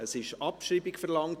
Es wurde Abschreibung verlangt.